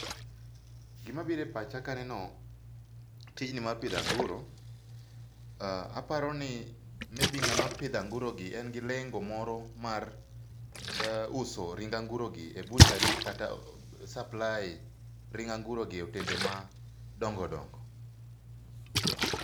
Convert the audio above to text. Gima biro e pacha ka aneno tijni mar pidho anguro, aparoni maybe ngama pidho anguro gi en gi lengo moro mar uso ring anguro gi e butchery kata supply[s] ring anguro gi e otende madongo dongo